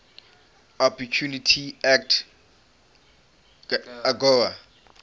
opportunity act agoa